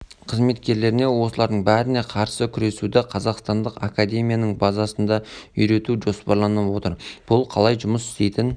қызметкерлеріне осылардың бәріне қарсы күресуді қазақстандық академияның базасында үйрету жоспарланып отыр бұл қалай жұмыс істейтін